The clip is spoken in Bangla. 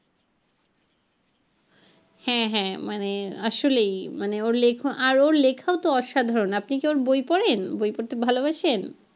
হ্যাঁ হ্যাঁ মানে আসলেই মানে ওর লেখা আর ওর লেখাও তো অসাধারন আপনি কি ওর বই পড়েন বই পড়তে ভালোবাসেন?